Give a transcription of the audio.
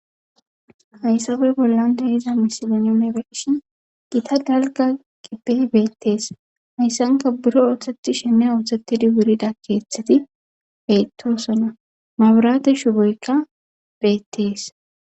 hayssabe bollan dehiza misilonomebekishin gita dalga gibbey beettees hayssanka buro ooththeti sheme ooththettidi wurida keeththeti beyttoosona maburaate shuboykka beettees